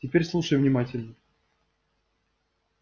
теперь слушай внимательно